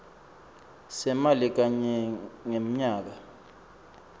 semali kanye ngemnyaka